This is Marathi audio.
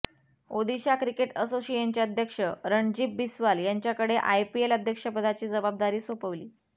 ओदिशा क्रिकेट असोसिएशनचे अध्यक्ष रणजीब बिस्वाल यांच्याकडे आयपीएल अध्यक्षपदाची जबाबदारी सोपवली